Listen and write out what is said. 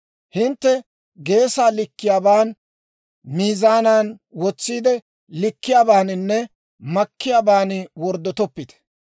« ‹Hintte geesaa likkiyaaban, miizaanan wotsiide likkiyaabaaninne makkiyaaban worddotoppite.